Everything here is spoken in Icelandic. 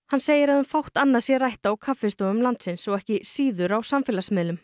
hann segir að um fátt annað sé rætt á kaffistofum landsins og ekki síður á samfélagsmiðlum